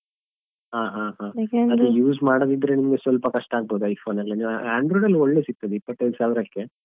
ಹ ಹ ಹ use ಮಾಡದಿದ್ರೆ ನಿಮ್ಗೆ ಸ್ವಲ್ಪ ಕಷ್ಟ ಆಗ್ಬೋದು iPhone ಎಲ್ಲಾ ನೀವು android ಎಲ್ಲ ಒಳ್ಳೆ ಸಿಗ್ತದೆ ಇಪ್ಪತ್ತೈದು ಸಾವಿರಕ್ಕೆ .